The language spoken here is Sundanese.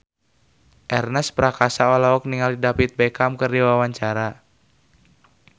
Ernest Prakasa olohok ningali David Beckham keur diwawancara